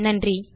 நன்றி